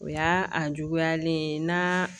O y'a a juguyalen ye n'a